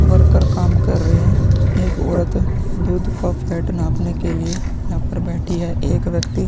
Worker काम कर रहे हैं। एक औरत आपने लिए यहाँ पर बैठी है। एक व्यक्ति --